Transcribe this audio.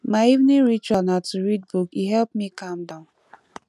my evening ritual na to read book e help me calm down